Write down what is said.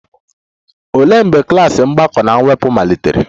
Olee mgbe klas mgbakọ na mwepụ malitere?